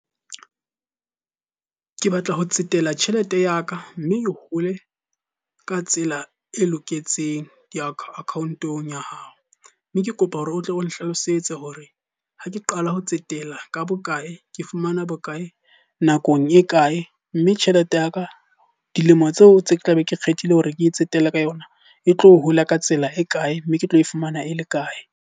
Ke batla ho tsetela tjhelete ya ka mme e hole ka tsela e loketseng. Di-account-ong ya hao, mme ke kopa hore o tle o nhlalosetse hore ha ke qala ho tsetela ka bokae? Ke fumana bokae nakong e kae? Mme tjhelete ya ka dilemo tseo tse ke tla be ke kgethile hore ke e tsetele ka yona e tlo hola ka tsela e kae? Mme ke tlo e fumana e le kae?